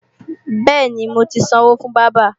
Bẹ́ẹ̀ni, mo ti sanwó fún bábà